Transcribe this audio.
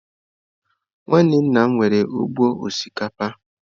Nwanne nna m nwere ugbo osikapa.